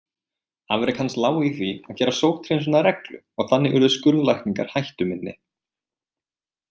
Afrek hans lá í því að gera sótthreinsun að reglu og þannig urðu skurðlækningar hættuminni.